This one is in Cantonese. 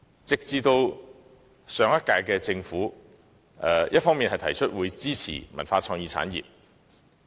直至上屆政府才表示支持文化創意產業。